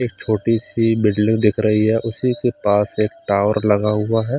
एक छोटी-सी बिल्डिंग दिख रही है उसी के पास एक टावर लगा हुआ है।